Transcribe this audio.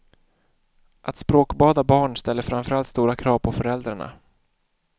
Att språkbada barn ställer framför allt stora krav på föräldrarna.